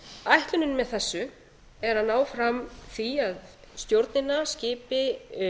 ætlunin með þessu er að ná fram því að stjórnina skipi